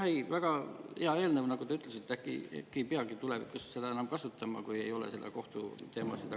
Jah, väga hea eelnõu, nagu te ütlesite, äkki ei peagi tulevikus seda kasutama, kui ei ole sellega kohtuteemasid.